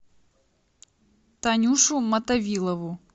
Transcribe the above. танюшу мотовилову